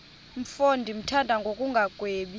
mfo ndimthanda ngokungagwebi